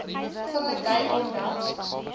vinger dui dan